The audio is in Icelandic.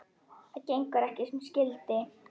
Það gengur ekki sem skyldi.